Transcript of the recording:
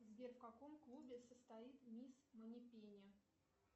сбер в каком клубе состоит мисс манипенни